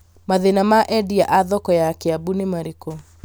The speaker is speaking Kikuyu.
mathĩna ma endĩa a thoko ya kiambu nĩ marĩkũ